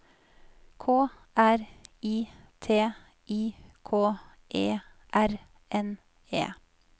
K R I T I K E R N E